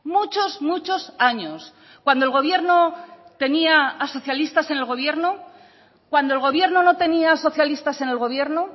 muchos muchos años cuando el gobierno tenía a socialistas en el gobierno cuando el gobierno no tenía socialistas en el gobierno